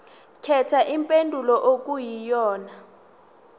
khetha impendulo okuyiyona